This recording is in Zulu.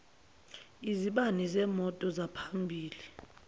izibani zemoto zaphambili